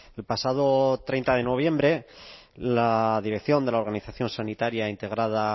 el pasado treinta de noviembre la dirección de la organización sanitaria integrada